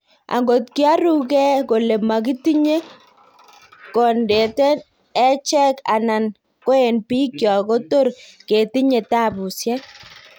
Angot kioru geeh kole makitinye kondeten echek anan ko en biik kyok kotor ketinye taapusiek